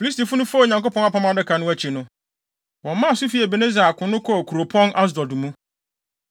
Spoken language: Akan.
Filistifo no faa Onyankopɔn Apam Adaka no akyi, wɔmaa so fii Ebeneser akono hɔ kɔɔ kuropɔn Asdod mu.